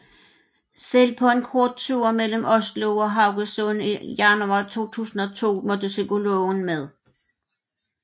Selv på en kort tur mellem Oslo og Haugesund i januar 2002 måtte psykologen med